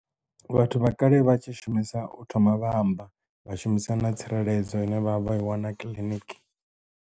Vhathu vha kale vha tshi shumisa u thoma vha amba vha shumisa na tsireledzo ine vha vha i wana kiḽiniki.